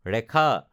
ৰেখা